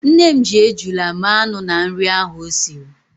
Nne m ji ejula mee anụ na nri ahụ o siri.